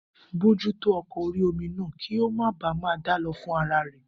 Bojútó ọkọ̀ orí-omi náà kí ó máa baà ma dálọ fúnra rẹ̀